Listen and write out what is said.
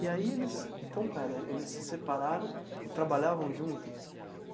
E aí, eles... então, espera, eles se separaram e trabalhavam juntos?